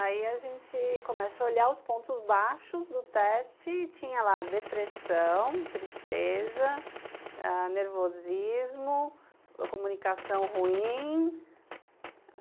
Aí a gente começa a olhar os pontos baixos do teste e tinha lá depressão, tristeza ãh nervosismo, comunicação ruim.